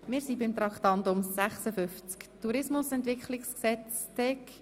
– Wir sind nun bei Traktandum 56, dem Tourismusentwicklungsgesetz (TEG) angelangt.